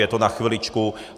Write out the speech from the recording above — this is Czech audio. Je to na chviličku.